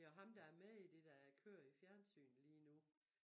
Det jo ham der er med i det der kører i fjernsynet lige nu